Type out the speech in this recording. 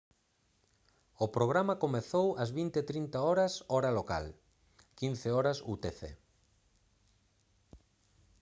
o programa comezou ás 20:30 h hora local 15:00 h utc